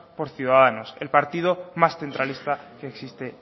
por ciudadanos el partido más centralista que existe